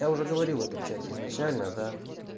я уже говорил в этом чате изначально да